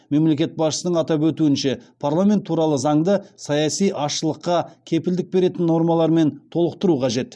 мемлекет басшысының атап өтуінше парламент туралы заңды саяси азшылыққа кепілдік беретін нормалармен толықтыру қажет